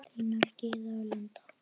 Þínar Gyða og Linda.